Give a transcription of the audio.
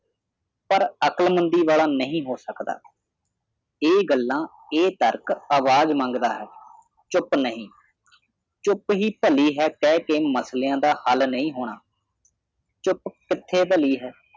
ਪਰ ਅਕਲਮੰਦੀ ਵਾਲਾ ਨਹੀਂ ਹੋ ਸਕਦਾ ਇਹ ਗੱਲਾਂ ਇਹ ਤਰਕ ਅਵਾਜ਼ ਮੰਗਦਾ ਹੈ ਚੁੱਪ ਨਹੀਂ ਚੁੱਪ ਹੀ ਭਲੀ ਹੈ ਕਹਿ ਕੇ ਮਸਲਿਆਂ ਦਾ ਹੱਲ ਨਹੀਂ ਹੋਣਾ ਚੁੱਪ ਕਿੱਥੇ ਭਲੀ ਹੈ